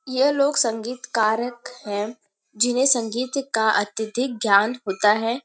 यह लोग संगीत कारक हैंजिन्हें संगीत का अत्यधिक ज्ञान होता है|